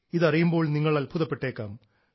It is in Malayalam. ഇതറിയുമ്പോൾ നിങ്ങൾ അത്ഭുതപ്പെട്ടേക്കാം